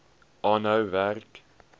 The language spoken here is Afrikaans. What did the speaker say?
aanhou werk